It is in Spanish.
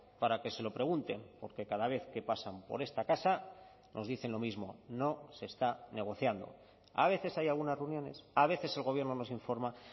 para que se lo pregunten porque cada vez que pasan por esta casa nos dicen lo mismo no se está negociando a veces hay algunas reuniones a veces el gobierno nos informa